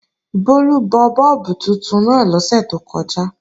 Bólú bọ bọ́ọ̀bù tuntun náà lọ́sẹ̀ tó kọjá